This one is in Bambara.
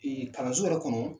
Kalanso yɛrɛ kɔnɔ.